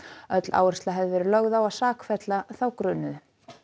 öll áhersla hefði verið lögð á að sakfella þá grunuðu enn